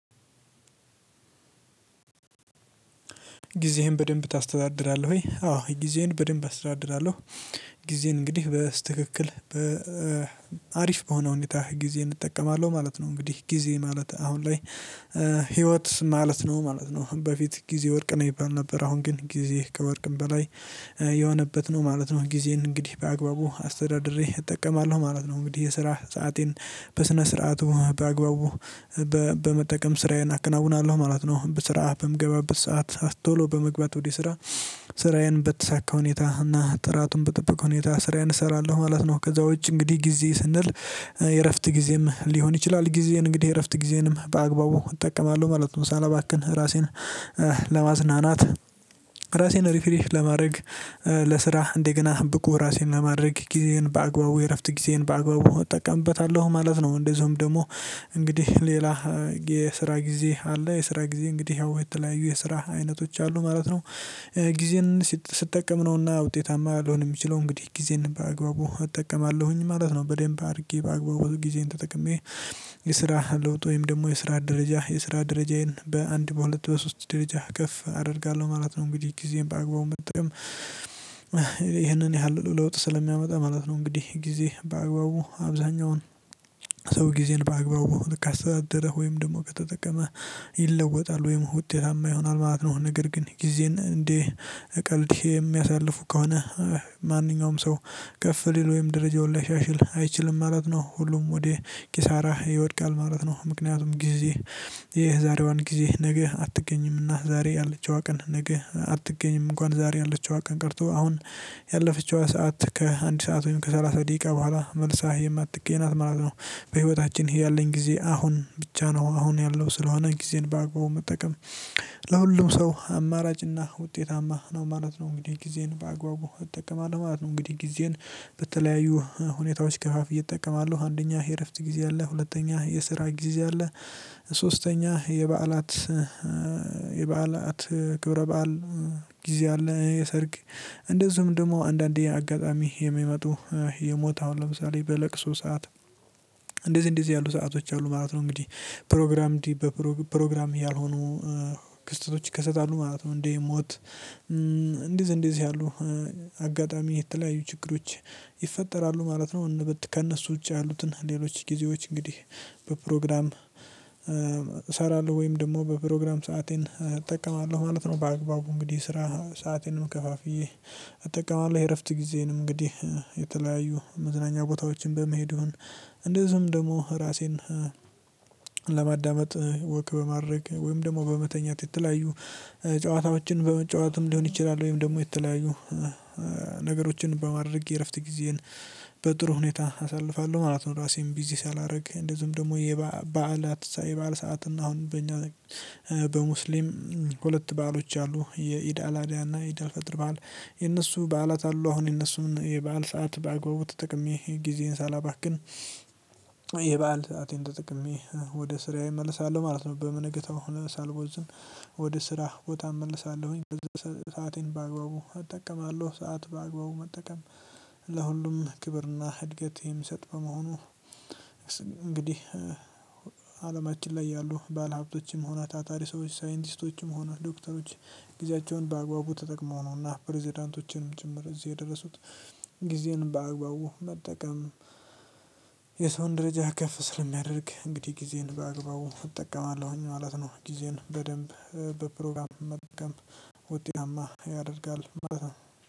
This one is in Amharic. ጊዜህን በደንብ ታስተዳድራለህ ወይ? አዎ ጊዜን በደንብ አስተዳድራለሁ። ጊዜን እንግዲህ በትክክል በአሪፍ በሆነ ሁኔታ ጊዜ እጠቀማለሁ ማለት ነው። እንግዲህ ጊዜ ማለት አሁን ላይ ህይወት ማለት ነው ማለት ነው በፊት ጊዜ ወርቅ ነው ይባል ነበር አሁን ግን ጊዜ ከወርቅም በላይ የሆነበት ነው ማለት ነው። ጊዜን እንግዲህ በአግባቡ አስተዳድሬ እጠቀማለሁ ማለት ነው። እንግዲህ የስራ ሰአቴን በስነ ስርዓቱ በአግባቡ በመጠቀም ስራዬን አከናውናለሁ ማለት ነው። በስራ በምገባበት ሰዓት ቶሎ በመግባት ወደ ስራ ስራዬን በተሳካ ሁኔታ እና ጥራቱን በጠበቀ ሁኔታ ስራዬን እሰራለሁ ማለት ነው። ከዛ ውጪ እንግዲህ ጊዜ ስንል የእረፍት ጊዜም ሊሆን ይችላል ጊዜን እንግዲህ የእረፍት ጊዜንም በአግባቡ እጠቀማለሁ ማለት ነው። ሳላባክህን ራሴን ለማዝናናት ራሴን ሪፍሪሽ ለማድረግ ለስራህ እንደገና ብቁ ራሴን ለማድረግ ጊዜዬን በአግባቡ የእረፍት ጊዜዬን በአግባቡ እጠቀምበታለሁ ማለት ነው። እንደዚሁም ደግሞ እንግዲህ ሌላ የስራ ጊዜ አለ የስራ ጊዜ እንግዲህ ያው የተለያዩ የስራ አይነቶች አሉ ማለት ነው። ጊዜን ስትጠቀም ነውና ውጤታማ ልሆን የምችለው እንግዲህ ጊዜን በአግባቡ እጠቀማለሁኝ ማለት ነው። በደንብ አድርጌ በአግባቡ ጊዜን ተጠቅሜ የስራ ለውጥ ወይም ደግሞ የስራ ደረጃ የስራ ደረጃዬን በአንድ በሁለት በሶስት ደረጃ ከፍ አደርጋለሁ ማለት ነው። እንግዲህ ጊዜን በአግባቡም መጠቀም ይሄ ይህንን ያህል ለውጥ ስለሚያመጣ ማለት ነው። እንግዲህ ጊዜ በአግባቡ አብዛኛውን ሰው ጊዜን በአግባቡ ልክ አስተዳደረ ወይም ደግሞ ከተጠቀመ ይለወጣል ወይም ውጤታማ ይሆናል ማለት ነው። ነገር ግን ጊዜን እንዴ ቀልድ የሚያሳልፉ ከሆነ ማንኛውም ሰው ከፍ ሊል ወይም ደረጃውን ሊሻሽል አይችልም ማለት ነው። ሁሉም ወደ ኪሳራ ይወድቃል ማለት ነው። ምክንያቱም ጊዜ የዛሬዋን ጊዜ ነገ አትገኝምና ዛሬ ያለችዋ ቀን ነገ አትገኝም እንኳን ዛሬ ያለችው ቀን ቀርቶ አሁን ያለፈችው ሰዓት ከአንድ ሰዓት ወይም ከሰላሳ ደቂቃ በኋላ መልሳ የማትገኝ ናት ማለት ነው። በህይወታችን ያለኝ ጊዜ አሁን ብቻ ነው አሁን ያለው ስለሆነ ጊዜን በአግባቡ መጠቀም ለሁሉም ሰው አማራጭና ውጤታማ ነው ማለት ነው። እንግዲህ ጊዜን በአግባቡ እጠቀማለሁ ማለት ነው። እንግዲህ ጊዜን በተለያዩ ሁኔታዎች ከፋፍየ እጠቀማ አለው አንደኛ የእረፍት ጊዜ አለ ሁለተኛ የስራ ጊዜ አለ። ሶስተኛ የበዓላት የበዓላት ክብረ በዓል ጊዜ አለ የሰርግ እንደዚሁም ደግሞ አንዳንዴ አጋጣሚ የሚመጡ የሞት ኣሁን ለምሳሌ በለቅሶ ሰዓት እንደዚህ እንደዚህ ያሉ ሰአቶች አሉ ማለት ነው። እንግዲህ ፕሮግራም እንዲህ በፕሮግራም እያልሆኑ ክስተቶች ይከሰታሉ ማለት ነው። እንዴ ሞት እንደዚህ እንደዚህ ያሉ አጋጣሚ የተለያዩ ችግሮች ይፈጠራሉ ማለት ነው። ከእነሱ ውጪ ያሉትን ሌሎች ጊዜዎች እንግዲህ በፕሮግራም እሰራለሁ ወይም ደግሞ በፕሮግራም ሰአቴን እጠቀማለሁ ማለት ነው። በአግባቡ እንግዲህ ስራ ሰአቴንም ከፋፍዬ እጠቅማለው የእረፍት ጊዜንም እንግዲህ የተለያዩ መዝናኛ ቦታዎችን በመሄድ ይሁን እንደዚህም ደግሞ ራሴን ለማዳመጥ ወክ በማድረግ ወይም ደግሞ በመተኛት የተለያዩ ጨዋታዎችን በመጫወትም ሊሆን ይችላል ወይም ደግሞ የተለያዩ ነገሮችን በማድረግ የእረፍት ጊዜን በጥሩ ሁኔታ አሳልፋለሁ ማለት ነው። ራሴን ቢዚ ሳላደርግ እንደዚሁም ደግሞ የባአላት የባዓል ሰዓት እና አሁን በእኛ በሙስሊም ሁለት በዓሎች አሉ የኢድ ኣላዳና ኢድአልፈጥር ባዓል የነሱ በዓላት አሉ። አሁን የነሱን የበአል ሰዓት በአግባቡ ተጠቅሜ ጊዜን ሳላባክን የበአል ሰአቴን ተጠቅሜ ወደ ስራዬ እመልሳለሁ ማለት ነው። በምንገታው ሳልቦዝን ወደ ስራህ ቦታ እመልሳለሁኝ። ሰአቴን በአግባቡ አጠቀማለሁ ሰዓት በአግባቡ መጠቀም ለሁሉም ክብርና እድገት የሚሰጥ በመሆኑ። እንግዲህ አለማችን ላይ ያሉ ባለሀብቶችም ሆነ ታታሪ ሰዎች ሳይንቲስቶችም ሆነ ዶክተሮች ጊዜያቸውን በአግባቡ ተጠቅመው ነውና ፕሬዝዳንቶችንም ጭምር እዚህ የደረሱት። ጊዜን በአግባቡ መጠቀም የሰውን ደረጃ ከፍ ስለሚያደርግ እንግዲህ ጊዜን በአግባቡ እጠቀማለሁኝ ማለት ነው። ጊዜን በደንብ በፕሮግራም መጥቀም ውጤታማ ያደርጋል ማለት ነው።